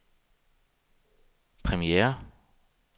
premiere